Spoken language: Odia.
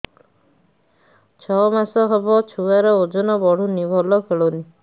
ଛଅ ମାସ ହବ ଛୁଆର ଓଜନ ବଢୁନି ଭଲ ଖେଳୁନି